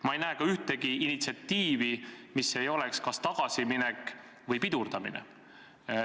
Ma ei näe ka ühtegi initsiatiivi, mis ei oleks kas tagasiminek või pidurdamine.